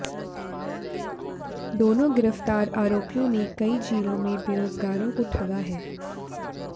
दोनों गिरफ्तार आरोपियों ने कई जिलों में बेरोजगारों को ठगा है